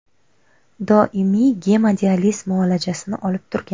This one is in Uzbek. Doimiy gemodializ muolajasini olib turgan.